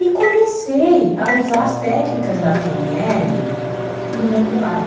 E comecei a usar as técnicas da pê ene ele no meu trabalho.